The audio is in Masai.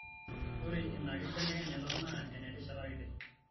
Ore ina kibelekenyata naa enerishata kiti.